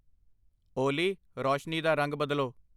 ਓਲੀ, ਰੌਸ਼ਨੀ ਦਾ ਰੰਗ ਬਦਲੋ